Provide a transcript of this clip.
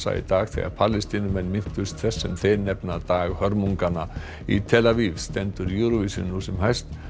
í dag þegar Palestínumenn minntust þess sem þeir nefna dag hörmunganna í tel Aviv stendur Eurovision nú sem hæst